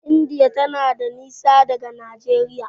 indiya tana da nisa daga Nageria